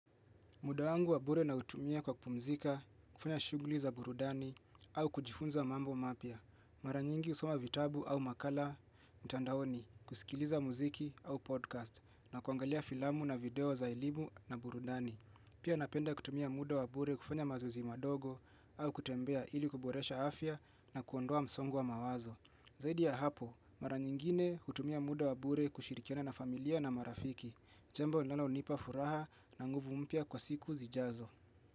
Muda wangu wabure nautumia kwa kupumzika, kufanya shuguli za burudani au kujifunza mambo mapya. Mara nyingi husoma vitabu au makala, mtandaoni, kusikiliza muziki au podcast na kuangalia filamu na video za elimu na burudani. Pia napenda kutumia muda wabure kufanya mazoezi madogo au kutembea ili kuboresha afya na kuondoa msongo wa mawazo. Zaidi ya hapo, mara nyingine hutumia muda wabure kushirikiana na familia na marafiki. Jambo linalonipa furaha na nguvu mpya kwa siku zijazo.